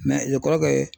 e kɔrɔkɛ